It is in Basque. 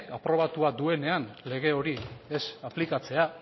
aprobatua duenean lege hori ez aplikatzea